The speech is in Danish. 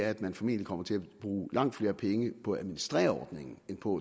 at man formentlig kommer til at bruge langt flere penge på at administrere ordningen end på